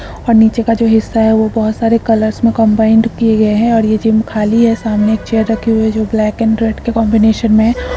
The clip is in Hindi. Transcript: और निचे का जो हिसा है वो बहोत सारे कलर्स में कंबाइन किए गए है और ये गयम खाली है सामने एक चेयर रखी हुए है जो ब्लैक एंड रेड की कॉम्बिनेशन में है|